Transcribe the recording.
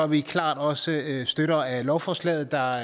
vi klart også støtter af lovforslaget der